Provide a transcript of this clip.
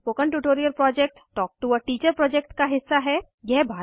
spoken tutorial project talk to a teacher project का हिस्सा है